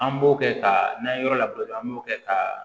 An b'o kɛ ka n'an yɔrɔ labalo an b'o kɛ ka